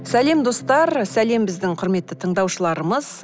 сәлем достар сәлем біздің құрметті тыңдаушыларымыз